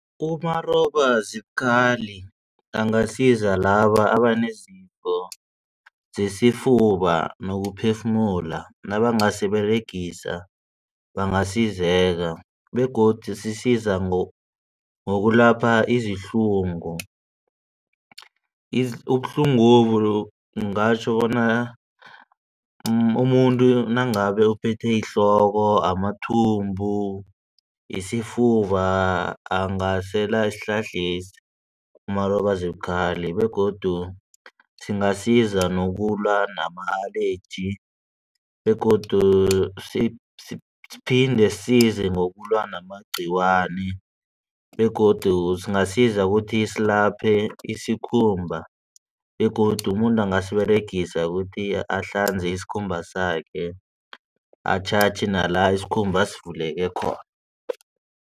Umarobazibukhali angasiza laba abanezifo zesifuba nokuphefumula nabangasiberegisa bangasizeka begodu sisiza ngokulapha izihlungu. Ubuhlungobu ngatjho bona umuntu nangabe uphethwe yihloko amathumbu, isifuba angasela isihlahlesi umarobazibukhali begodu singasiza nokulwa nama-allergy begodu siphinde size ngokulwa namagciwane begodu singasiza ukuthi silaphe isikhumba begodu umuntu angasiberegisa ukuthi ahlanze isikhumba sakhe atjhatjhe nala isikhumba sivuleke khona.